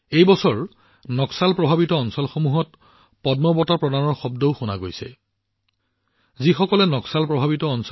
এই বছৰ পদ্ম বঁটাসমূহৰ প্ৰতিধ্বনি আনকি সেই অঞ্চলবোৰতো শুনা গৈছে যিবোৰ এসময়ত নক্সাল প্ৰভাৱিত আছিল